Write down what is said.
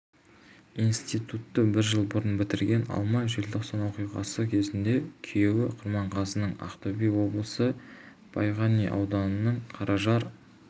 институтты бір жыл бұрын бітірген алма желтоқсан оқиғасы кезінде күйеуі құрманғазының ақтөбе облысы байғанин ауданының қаражар